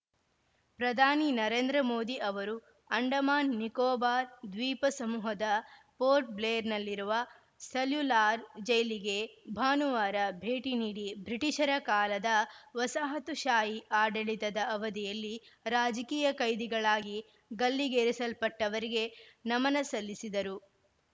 ಪ್ರಧಾನಿ ನರೇಂದ್ರ ಮೋದಿ ಅವರು ಅಂಡಮಾನ್‌ ನಿಕೋಬಾರ್‌ ದ್ವೀಪ ಸಮೂಹದ ಪೋರ್ಟ್‌ ಬ್ಲೇರ್‌ನಲ್ಲಿರುವ ಸೆಲ್ಯುಲಾರ್‌ ಜೈಲಿಗೆ ಭಾನುವಾರ ಭೇಟಿ ನೀಡಿ ಬ್ರಿಟೀಷರ ಕಾಲದ ವಸಾಹತುಶಾಹಿ ಆಡಳಿತದ ಅವಧಿಯಲ್ಲಿ ರಾಜಕೀಯ ಕೈದಿಗಳಾಗಿ ಗಲ್ಲಿಗೇರಿಸಲ್ಪಟ್ಟವರಿಗೆ ನಮನ ಸಲ್ಲಿಸಿದರು